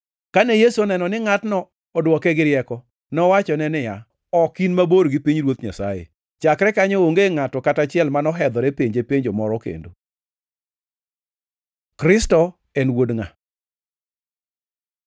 Kane Yesu oneno ni ngʼatno odwoke gi rieko, nowachone niya, “Ok in mabor gi pinyruoth Nyasaye.” Chakre kanyo onge ngʼato kata achiel manohedhore penje penjo moro kendo. Kristo en wuod ngʼa?